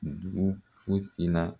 Dugu fosi la